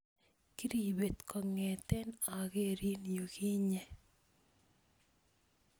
Kiribet kongeten okerin yukinye